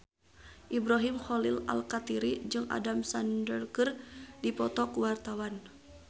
Ibrahim Khalil Alkatiri jeung Adam Sandler keur dipoto ku wartawan